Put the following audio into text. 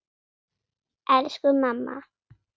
Elsku mamma.